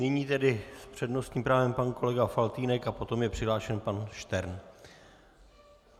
Nyní tedy s přednostním právem pan kolega Faltýnek a potom je přihlášen pan Štern.